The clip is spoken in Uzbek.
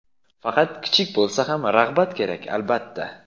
Faqat kichik bo‘lsa ham rag‘bat kerak, albatta.